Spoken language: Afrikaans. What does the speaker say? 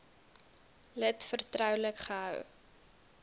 lid vertroulik gehou